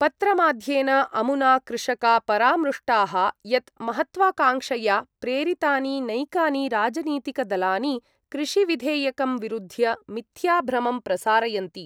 पत्रमाध्येन अमुना कृषका परामृष्टाः यत् महत्वाकाङ्क्षया प्रेरितानि नैकानि राजनीतिकदलानि कृषिविधेयकं विरुध्य मिथ्या भ्रमं प्रसारयन्ति।